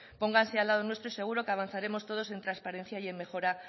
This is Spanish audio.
pónganse al lado nuestro y seguro que avanzaremos todos en transparencia y en mejora